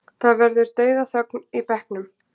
Það verður dauðaþögn í bekknum.